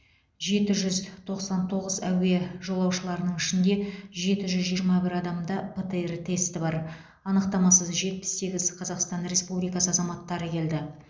жеті жүз тоқсан тоғыз әуе жолаушыларының ішінде жеті жүз жиырма бір адамда птр тесті бар анықтамасыз жетпіс сегіз қазақстан республикасы азаматтары келді